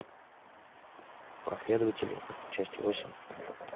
последователи часть восемь